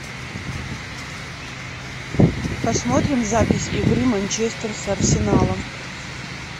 посмотрим запись игры манчестер с арсеналом